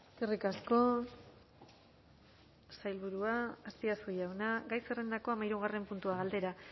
eskerrik asko sailburua azpiazu jauna gai zerrendako hamahirugarren puntua galdera